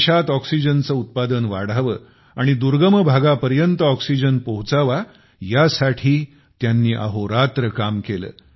देशात ऑक्सीजनचे उत्पादन वाढावे आणि दुर्गम भागापर्यंत ऑक्सीजन पोहोचावा यासाठी त्यांनी अहोरात्र काम केले